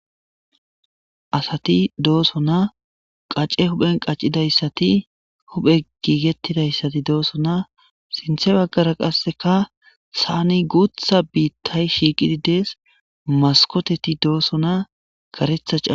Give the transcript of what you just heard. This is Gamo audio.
Asati doosona qace huphen qacidayssati huphey gigettidayssatu doosona sinthe baggara qaseka saanen guutha biitay shiiqidied dees maskoteti doosona karetha caama.